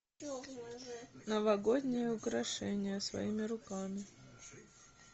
новогодние украшения своими руками